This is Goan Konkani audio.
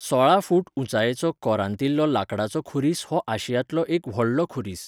सोळा फूट उंचायेचो कोरांतिल्लो लांकडाचो खुरीस हो आशियांतलो एक व्हडलो खुरीस.